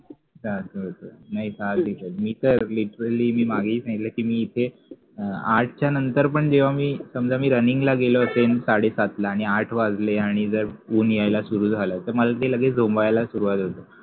तर असा होता मी तर literally मी मागेही सांगितलं कि मी इथे आठच्या नंतर पण जेव्हा मी समजा मी Running ला गेलो असेल साडेसात ला आणि आठ वाजले आणि जर ऊन येयाला सुरु झाले तर मला लगेच ते झोंब्याला सुरवात होत तर असा होत